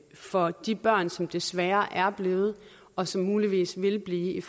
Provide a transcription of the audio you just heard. for de børn som desværre er blevet og som muligvis vil blive